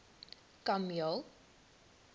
kameel